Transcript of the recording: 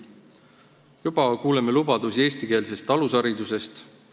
Juba kuuleme lubadusi eestikeelse alushariduse kohta.